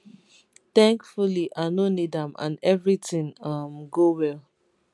thankfully i no need am and evritin um go well